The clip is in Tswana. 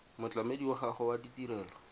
motlamedi wa gago wa tirelo